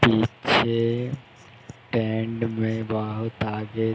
पीछे टेंट में बहोत आगे --